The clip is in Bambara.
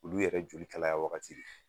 Olu yɛrɛ joli kalaya wagati de